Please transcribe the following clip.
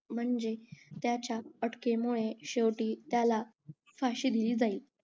म्हणजे त्याच्या अटकेमुळे त्याला शेवटी फाशी दिली जाईल